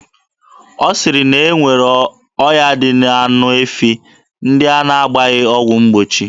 A sịrị na e nwere ọya dị n'anụ efi ndị a na-agbaghị ọgwụ mgbochi.